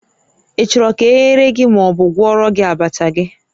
Ị chọrọ ka e ghere gị ma ọ bụ gwọọrọ gị abacha gị?